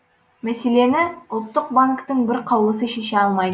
мәселені ұлттық банктің бір қаулысы шеше алмай